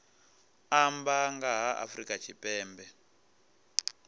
amba nga ha afrika tshipembe